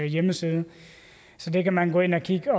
hjemmeside så der kan man gå ind og kigge